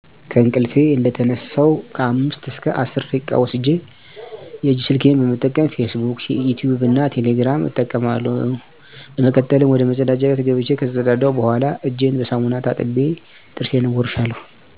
ከእንቅልፊ እንደተነሳሁ ከአምስት እስከ አስር ደቂቃ ወስጀ የእጅ ስልኬን በመጠቀም "ፊስ ቡክ" ፣"ዩቲቭ" እና "ቴሌግራም" እጠቀማለሁ። በመቀጠልም ወደመጸዳጃ ቤት ገብቸ ከተጸዳዳሁ በኋላ እጀን በሳሙና ታጥቤ ጥርሴን እቦርሻለሁ።